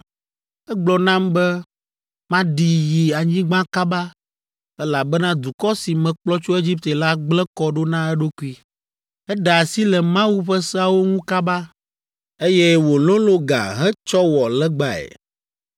Egblɔ nam be maɖi yi anyigba kaba, elabena dukɔ si mekplɔ tso Egipte la gblẽ kɔ ɖo na eɖokui; eɖe asi le Mawu ƒe seawo ŋu kaba, eye wòlolõ ga hetsɔ wɔ legbae.